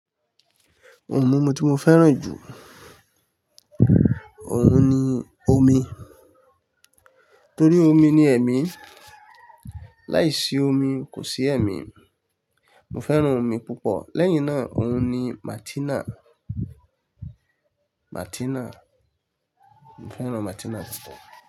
Òun mumú tí mo fẹ́ràn jù. Òun ni omi, torí omi ni ẹ̀mí. Láìsí omi kò sí ẹ̀mí. Mo fẹ́ràn omi púpọ̀. Lẹ́yìn náà, òun ni Martina. Martina. Mo fẹ́ràn Martina púpọ̀